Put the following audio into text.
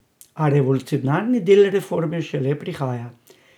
A revolucionarni del reforme šele prihaja.